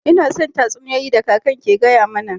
Ina son tatsuniyoyi da kakan ke gaya mana.